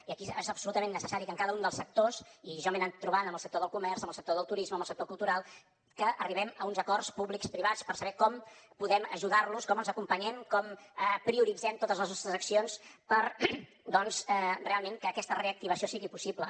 i aquí és absolutament necessari que en cada un dels sectors i jo m’he anat trobant amb el sector del comerç amb el sector del turisme amb el sector cultural arribem a uns acords publicoprivats per saber com podem ajudar los com els acompanyem com prioritzem totes les nostres accions perquè doncs realment aquesta reactivació sigui possible